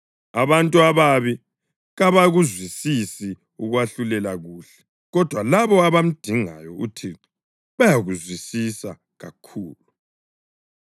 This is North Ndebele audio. Abantu ababi kabakuzwisisi ukwahlulela kuhle, kodwa labo abamdingayo uThixo bayakuzwisisa kakhulu.